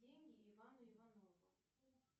деньги ивану иванову